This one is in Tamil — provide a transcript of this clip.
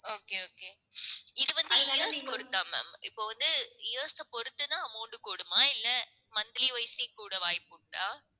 okay, okay. இது வந்து years பொறுத்தா ma'am. இப்போ வந்து years அ பொறுத்துதான் amount கூடுமா இல்லை monthly wise ஸே கூட வாய்ப்பு உண்டா?